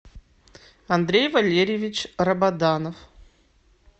андрей валерьевич рабаданов